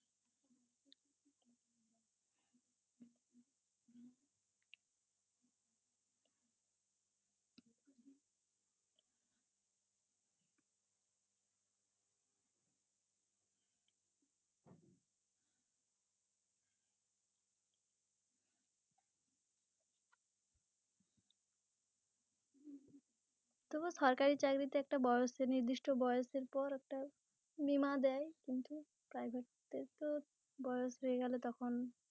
তবুও সরকারি চাকরিতে একটা বয়সের নির্দিষ্ট বয়সের পর একটা বীমা দেয় কিন্তু Private তো বয়স হয়ে গেলে তখন